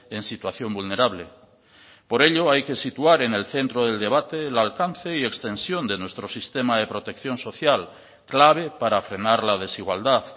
en situación vulnerable por ello hay que situar en el centro del debate el alcance y extensión de nuestro sistema de protección social clave para frenar la desigualdad